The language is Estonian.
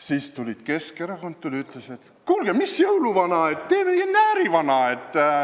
Siis tuli Keskerakond ja ütles, et mis jõuluvana – teeme näärivana.